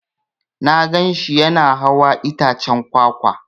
Na gan shi Yana hawan itaccen kwakwa.